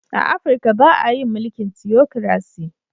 A Afrika ba a yin mulkin " Theocracy".